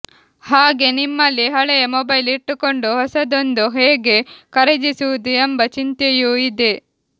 ಹಾಗೆ ನಿಮ್ಮಲ್ಲಿ ಹಳೆಯ ಮೊಬೈಲ್ ಇಟ್ಟುಕೊಂಡು ಹೊಸದೊಂದು ಹೇಗೆ ಖರೀದಿಸುವುದು ಎಂಬ ಚಿಂತೆಯೂ ಇದೆ